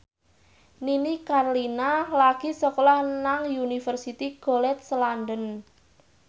Nini Carlina lagi sekolah nang Universitas College London